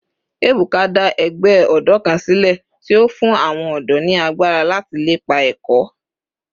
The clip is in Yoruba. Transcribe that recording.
Ebuka da egbe odo kan sile ti o fun awon odo ni agbara lati lepa eko